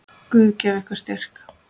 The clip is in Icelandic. Guð gefi ykkur styrk.